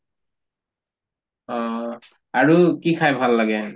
অহ, আৰু কি খাই ভাল লাগে?